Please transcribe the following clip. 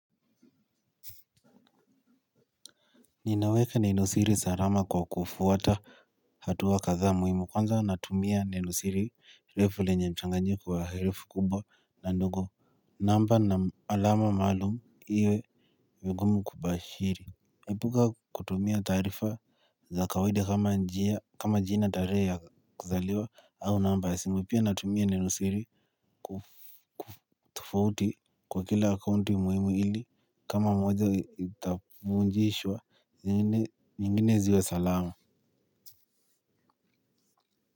Ninaweka neno siri salama kwa kufuata hatuwa kadhaa muhimu kwanza natumia neno siri refu lenye mchanganyiko wa herufi kubwa na ndogo. Namba na alama maalumu iwe vigumu kubashiri epuka kutumia taarifa za kawaida kama jina, tarehe ya kuzaliwa au namba ya simu pia natumia neno siri tofauti kwa kila akaunti muhimu ili kama moja itafungwa zingine ziwe salama.